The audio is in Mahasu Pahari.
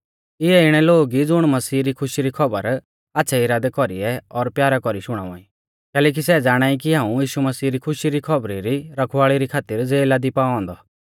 इऐ इणै लोग ई ज़ुण मसीह री खुशी री खौबर आच़्छ़ै इरादै कौरीऐ और प्यारा कौरी शुणावा ई कैलैकि सै ज़ाणाई कि हाऊं यीशु मसीह री खुशी री खौबरी री रखवाल़ी री खातिर ज़ेला दी पाऔ औन्दौ